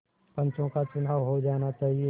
पंचों का चुनाव हो जाना चाहिए